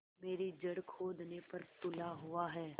मेरी जड़ खोदने पर तुला हुआ है